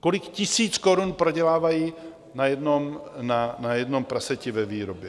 Kolik tisíc korun prodělávají na jednom praseti ve výrobě.